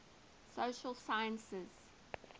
social sciences